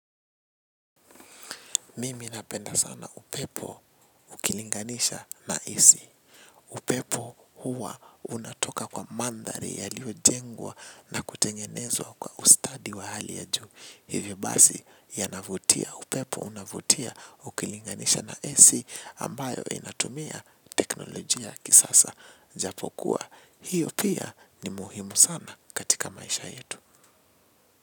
Mimi napenda sana upepo ukilinganisha na AC. Upepo huwa unatoka kwa mandhari yaliyo jengwa na kutengenezwa kwa ustadi wa hali ya juu. Hivyo basi yanavutia upepo unavutia ukilinganisha na AC ambayo inatumia teknolojia kisasa japo kuwa. Hiyo pia ni muhimu sana katika maisha yetu.